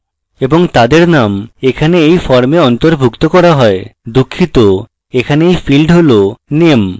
এবং তাদের name এখানে এই form অন্তর্ভুক্ত করা হয়দুঃখিত এখানে এই field হল name